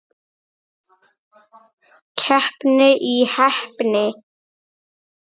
Keppni í heppni.